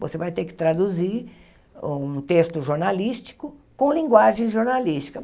Você vai ter que traduzir um texto jornalístico com linguagem jornalística.